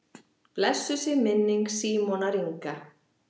Blessuð sé minning Símonar Inga.